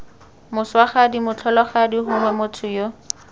moswagadi motlholagadi gongwe motho yo